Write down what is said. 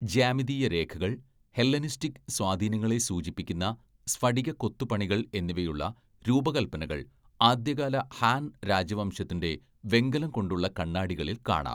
ജ്യാമിതീയ രേഖകൾ ഹെല്ലനിസ്റ്റിക് സ്വാധീനങ്ങളെ സൂചിപ്പിക്കുന്ന സ്ഫടിക കൊത്തുപണികൾ എന്നിവയുള്ള രൂപകൽപ്പനകൾ ആദ്യകാല ഹാൻ രാജവംശത്തിന്‍റെ വെങ്കലം കൊണ്ടുള്ള കണ്ണാടികളിൽ കാണാം.